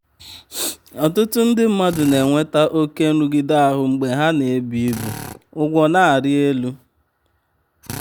ọtụtụ ndị mmadụ na-enweta oke um nrụgide ahụ mgbe um ha na-ebu ibu ụgwọ na-arị elu. um